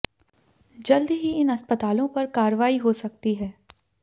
जल्द ही इन अस्पतालों पर कार्रवाई हो सकती है